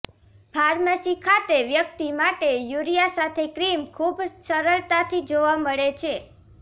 pharmacy ખાતે વ્યક્તિ માટે યુરિયા સાથે ક્રીમ ખૂબ સરળતાથી જોવા મળે છે